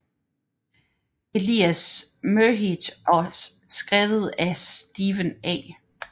Elias Merhige og skrevet af Steven A